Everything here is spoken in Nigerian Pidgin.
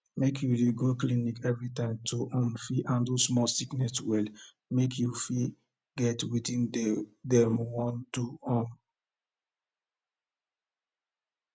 make you de go clinic every time to um fit handle small sickness well make you follow get wetin de wey dem want do um